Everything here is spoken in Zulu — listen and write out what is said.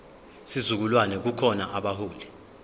sizukulwane kukhona abaholi